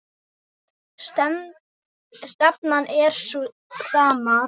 Stefnan er sú sama.